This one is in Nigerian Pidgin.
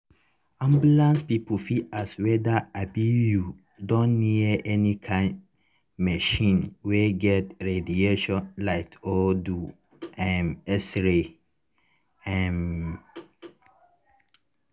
ambulance people fit ask whether um you don near any kind machine wey get radiation light or do um x-ray. um